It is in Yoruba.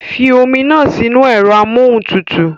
Fi omi náà sínú ẹ̀rọ amóhuntutù